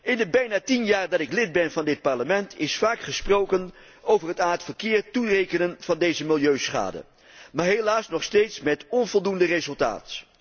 In de bijna tien jaar dat ik lid ben van dit Parlement, is vaak gesproken over aan het verkeer toerekenen van deze milieuschade, maar helaas nog steeds met onvoldoende resultaat.